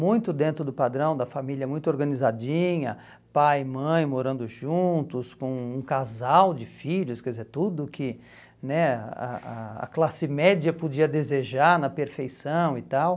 muito dentro do padrão da família, muito organizadinha, pai e mãe morando juntos, com um casal de filhos, quer dizer, tudo que né a a a classe média podia desejar na perfeição e tal.